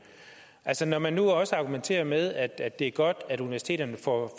altså når man nu også argumenterer med at at det er godt at universiteterne får